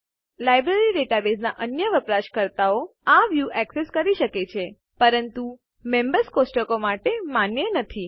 library ડેટાબેઝના અન્ય વપરાશકર્તાઓ આ વ્યુ એક્સેસ કરી શકે છે પરંતુ મેમ્બર્સ કોષ્ટક માટે માન્ય નથી